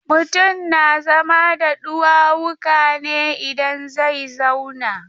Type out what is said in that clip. Mutum na zama da ɗuwawuka ne idan zai zauna.